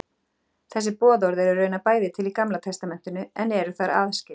Þessi boðorð eru raunar bæði til í Gamla testamentinu en eru þar aðskilin.